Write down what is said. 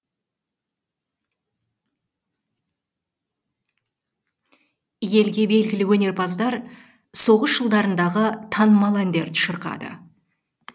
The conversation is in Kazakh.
елге белгілі өнерпаздар соғыс жылдарындағы танымал әндерді шырқады